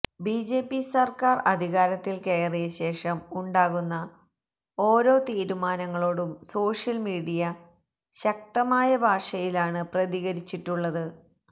BJP സര്ക്കാര് അധികാരത്തില് കയറിയശേഷം ഉണ്ടാകുന്ന ഓരോ തീരുമാനങ്ങളോടും സോഷ്യല് മീഡിയ ശക്തമായ ഭാഷയിലാണ് പ്രതികരിച്ചിട്ടുള്ളത്